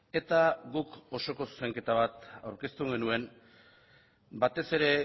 eta guk osoko zuzenketa bat aurkeztu genuen batez ere